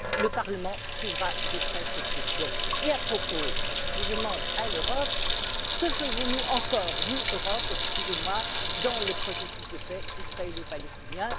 Le Parlement suivra de près cette question. Et à ce propos, je demande à l'Europe que faisons nous encore, nous Europe, dans le processus de paix israélo palestinien?